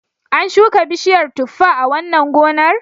An shuka bishiyar tuffa a wannan gonar?